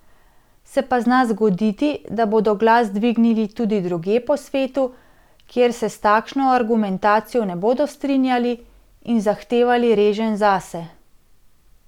Se pa zna zgoditi, da bodo glas dvignili drugje po svetu, kjer se s takšno argumentacijo ne bodo strinjali, in zahtevali reženj zase.